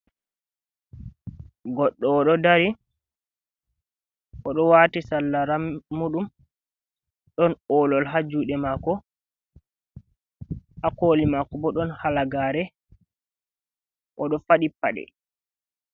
Goɗɗo o ɗo dari, o ɗo waati sarla ramuuɗum, ɗon olol ha juuɗe maako, ha kooli maako bo ɗon halagaare, o ɗo faɗi paɗe.